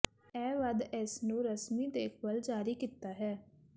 ਇਹ ਵੱਧ ਇਸ ਨੂੰ ਰਸਮੀ ਦੇਖਭਾਲ ਜਾਰੀ ਕੀਤਾ ਹੈ